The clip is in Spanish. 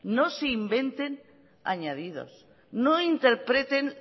no se inventen añadidos no interpreten